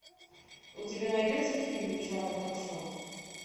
у тебя найдется фильм жанра ток шоу